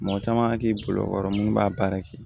Mɔgɔ caman k'i bolo kɔrɔ mun b'a baara kɛ